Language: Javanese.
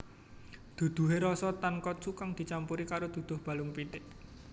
Duduhe rasa tonkotsu kang dicampur karo duduh balung pitik